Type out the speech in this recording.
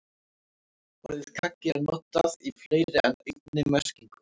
Orðið kaggi er notað í fleiri en einni merkingu.